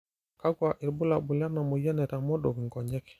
kakua irbulabol le moyian naitamodok inkonyek?